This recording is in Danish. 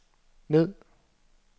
ned